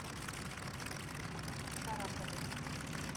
шарапову